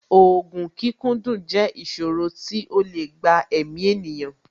Ògùn kíkúndùn jẹ́ ìsòro tí ó lè gba èmi ènìyàn